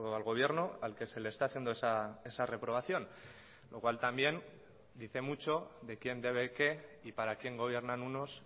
al gobierno al que se le está haciendo esa reprobación lo cual también dice mucho de quien debe qué y para quién gobiernan unos